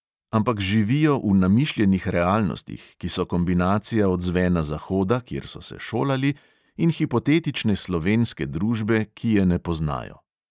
Ampak živijo v namišljenih realnostih, ki so kombinacija odzvena zahoda, kjer so se šolali, in hipotetične slovenske družbe, ki je ne poznajo.